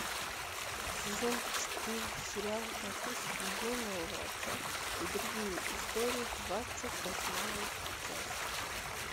сезон четыре сериал записки юного врача и другие истории двадцать восьмая часть